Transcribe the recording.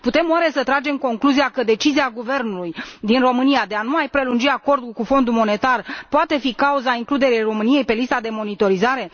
Putem oare să tragem concluzia că decizia guvernului din România de a nu mai prelungi acordul cu Fondul Monetar poate fi cauza includerii României pe lista de monitorizare?